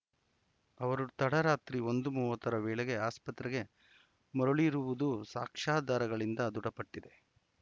ಅವರು ತಡರಾತ್ರಿ ಒಂದು ಮೂವತ್ತರ ವೇಳೆಗೆ ಆಸ್ಪತ್ರೆಗೆ ಮರಳಿರುವುದು ಸಾಕ್ಷ್ಯಾಧಾರಗಳಿಂದ ದೃಡಪಟ್ಟಿದೆ